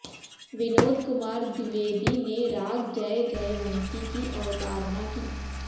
विनोद कुमार द्विवेदी ने राग जयजयवंती की अवतारणा की